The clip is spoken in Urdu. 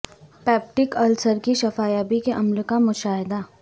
پیپٹیک السر کی شفا یابی کے عمل کا مشاہدہ